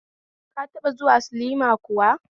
Ka taba zuwa silma kuwa?